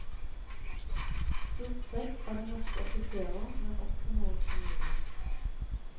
Stort sett er det norske offiserer, men også noen spanjoler.